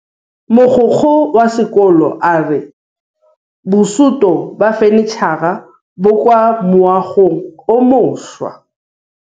Mogokgo wa sekolo a re bosutô ba fanitšhara bo kwa moagong o mošwa.